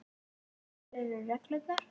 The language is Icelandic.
Hverjar eru reglurnar?